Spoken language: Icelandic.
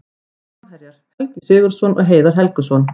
Framherjar: Helgi Sigurðsson og Heiðar Helguson.